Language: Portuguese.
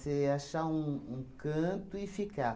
Você achar um um canto e ficar.